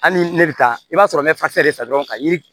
Hali ne bɛ taa i b'a sɔrɔ n bɛ de ta dɔrɔn ka yiri